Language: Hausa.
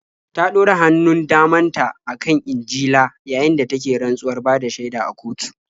Ta ɗora hannun daman ta a kan Injila yayin da take rantsuwar bada shaida a kotu.